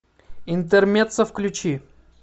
интермеццо включи